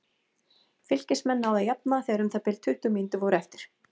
Fylkismenn náðu að jafna þegar um það bil tuttugu mínútur voru eftir.